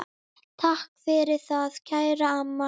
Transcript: Takk fyrir það, kæra amma.